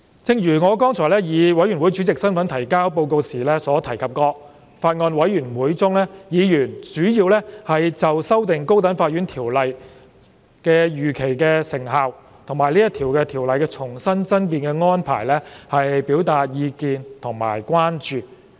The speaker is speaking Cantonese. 正如我剛才以法案委員會主席身份提交報告時所提及，在法案委員會中，委員主要就修訂《高等法院條例》的預期成效和《條例草案》的重新爭辯安排表達意見和關注。